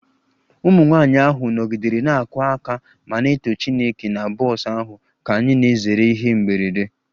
Ụmụ nwanyị ahụ nọgidere na-akụ aka ma na-eto Chineke na bọs ahụ ka anyị na-ezere ihe mberede